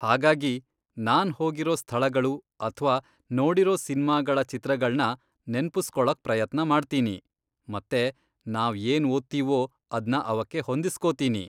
ಹಾಗಾಗಿ, ನಾನ್ ಹೋಗಿರೋ ಸ್ಥಳಗಳು ಅಥ್ವಾ ನೋಡಿರೋ ಸಿನ್ಮಾಗಳ ಚಿತ್ರಗಳ್ನ ನೆನ್ಪುಸ್ಕೊಳಕ್ ಪ್ರಯತ್ನ ಮಾಡ್ತೀನಿ ಮತ್ತೆ ನಾವ್ ಏನ್ ಓದ್ತೀವೋ ಅದ್ನ ಅವಕ್ಕೆ ಹೊಂದಿಸ್ಕೊತೀನಿ.